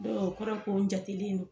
o kɔrɔ ye ko n jatelen do.